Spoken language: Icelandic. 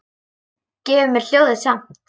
Gefur mér ljóðið samt.